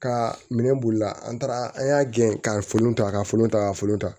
Ka minɛn bolila an taara an y'a gɛn ka folon ta ka folon ta ka folon ta